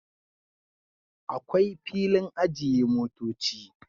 Akwai filin ajiye motoci